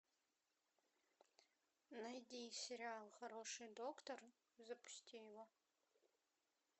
найди сериал хороший доктор запусти его